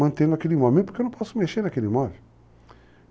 Mantenho aquele imóvel, porque eu não posso mexer naquele imóvel.